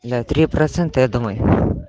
да три процента я думаю